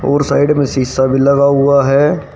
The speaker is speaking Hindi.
और साइड में शीशा भी लगा हुआ है।